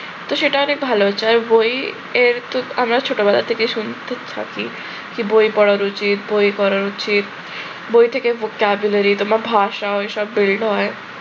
তো সেটা অনেক ভাল হয়েছে আর বই এর তো আমার ছোটবেলা থেকেই শুনতে থাকি যে বই পড়া উচিৎ বই পড়া উচিৎ। বই থেকে তোমার vocabulary তোমার ভাষা ওইসব build হয়